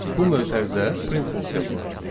Bu mötərizə print funksiyasına aiddir.